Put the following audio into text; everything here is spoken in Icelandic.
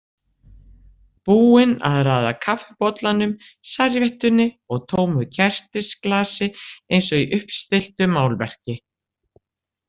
Búin að raða kaffibollanum, servíettunni og tómu kertisglasi eins og í uppstilltu málverki.